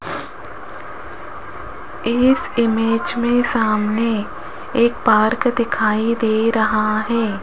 इस इमेज में सामने एक पार्क दिखाई दे रहा है।